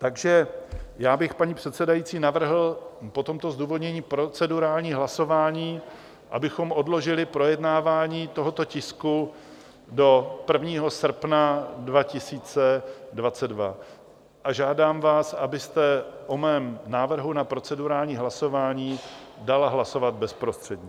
Takže já bych, paní předsedající, navrhl po tomto zdůvodnění procedurální hlasování, abychom odložili projednávání tohoto tisku do 1. srpna 2022, a žádám vás, abyste o mém návrhu na procedurální hlasování dala hlasovat bezprostředně.